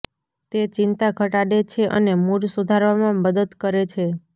તે ચિંતા ઘટાડે છે અને મૂડ સુધારવામાં મદદ કરે છે